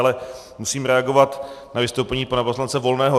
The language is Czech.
Ale musím reagovat na vystoupení pana poslance Volného.